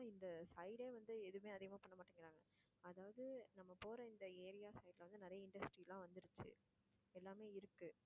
இந்த side ஏ வந்து எதும் அதிகமா பண்ணமாட்டேங்கிறாங்க அதாவது நம்ம போற இந்த area side வந்து நிறைய industry எல்லாம் வந்துருச்சி எல்லாமே இருக்கு